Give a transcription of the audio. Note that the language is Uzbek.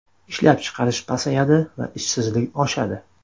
Ishlab chiqarish pasayadi va ishsizlik oshadi.